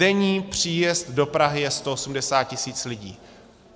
Denní příjezd do Prahy je 180 tisíc lidí.